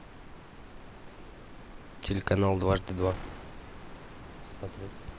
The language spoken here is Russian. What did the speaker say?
телеканал дважды два смотреть